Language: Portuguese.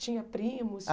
Tinha primos?